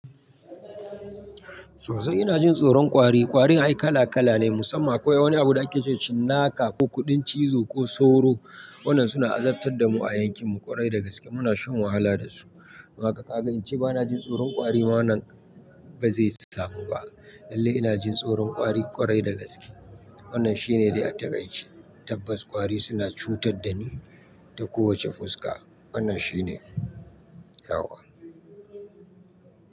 Sosai ina jin tsoron kwari. Kwarin ai kala kala ne musamman akwai wani abu da akece cinnaka ko kuɗin cizo ko sauro. Waɗannan suna azabtar da mu a yankinmu ƙwarai da gaske muna shan wahala dasu. Makaƙa in ce bana jin tsoron ƙwari ma nan bazai samu ba. Lalle inajin tsoron ƙwari ƙwarai da gaske. Wannan shine dai a takaice. Tabbas ƙwari suna cutar dani ta kowace fuska. Wannan shine yawwa.